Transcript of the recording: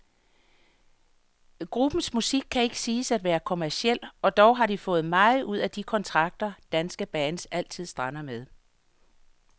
Gruppens musik kan ikke siges at være kommerciel, og dog har de fået meget ud af de kontrakter, danske bands altid strander med.